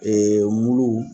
mulu